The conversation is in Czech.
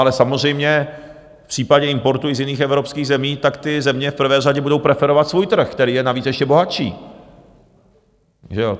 Ale samozřejmě v případě importu i z jiných evropských zemí, tak ty země v prvé řadě budou preferovat svůj trh, který je navíc ještě bohatší.